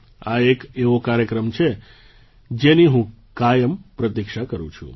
આ એક એવો કાર્યક્રમ છે જેની હું કાયમ પ્રતીક્ષા કરું છું